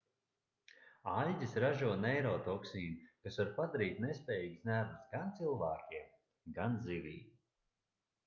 aļģes ražo neirotoksīnu kas var padarīt nespējīgus nervus gan cilvēkiem gan zivīm